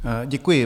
Děkuji.